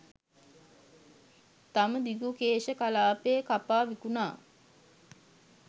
තම දිගුකේශ කලාපය කපා විකුණා